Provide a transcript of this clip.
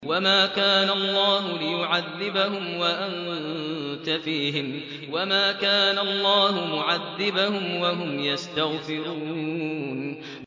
وَمَا كَانَ اللَّهُ لِيُعَذِّبَهُمْ وَأَنتَ فِيهِمْ ۚ وَمَا كَانَ اللَّهُ مُعَذِّبَهُمْ وَهُمْ يَسْتَغْفِرُونَ